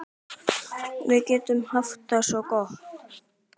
Við getum haft það svo gott.